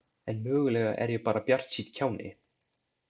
En mögulega er ég bara bjartsýnn kjáni.